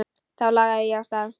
Þá lagði ég af stað.